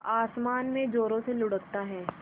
आसमान में ज़ोरों से लुढ़कता है